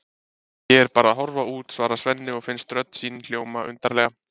Ég er bara að horfa út, svarar Svenni og finnst rödd sín hljóma undarlega.